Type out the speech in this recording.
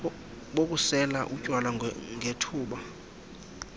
bokusela utywala ngethuba